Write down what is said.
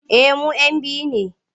Eh mu'yan biyu ne.